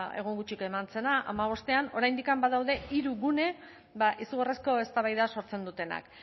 egun gutxi eman zena hamabostean oraindik badaude hiru gune izugarrizko eztabaida sortzen dutenak